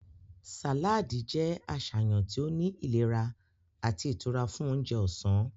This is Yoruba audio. Saladi jẹ aṣayan ti o ni ilera ati itura fun ounjẹ ọsan.